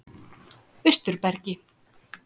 Austurbergi